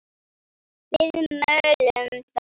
Við mölum þá!